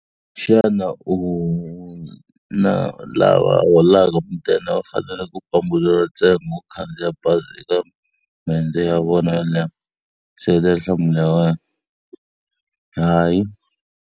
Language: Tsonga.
Xana u lava holaka mudende va fanele ku pambuleriwa ntsengo wo khandziya bazi eka maendzo ya vona yo leha? Seketela nhlamulo ya wena. Hayi.